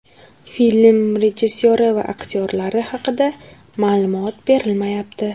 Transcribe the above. Film rejissyori va aktyorlar haqida ma’lumot berilmayapti.